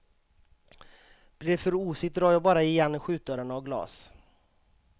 Blir det för osigt drar jag bara igen skjutdörrarna av glas.